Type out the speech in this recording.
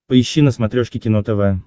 поищи на смотрешке кино тв